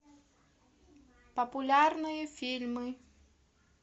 популярные фильмы